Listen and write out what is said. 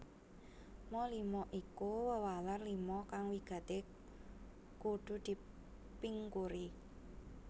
Ma lima iku wewaler lima kang wigati kudu dipingkuri